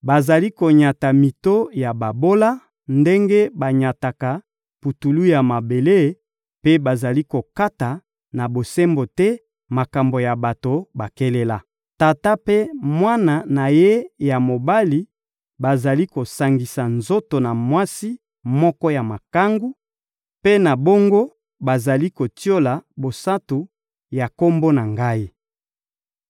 Bazali konyata mito ya babola ndenge banyataka putulu ya mabele, mpe bazali kokata na bosembo te makambo ya bato bakelela. Tata mpe mwana na ye ya mobali bazali kosangisa nzoto na mwasi moko ya makangu; mpe na bongo, bazali kotiola bosantu ya Kombo na Ngai.